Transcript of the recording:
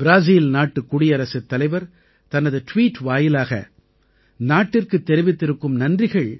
ப்ராஸீல் நாட்டுக் குடியரசுத் தலைவர் தனது ட்வீட் வாயிலாக நாட்டிற்குத் தெரிவித்திருக்கும் நன்றிகள்